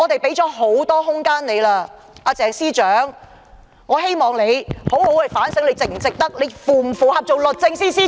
因此，我希望鄭司長能好好反省自己究竟是否符合資格擔任律政司司長。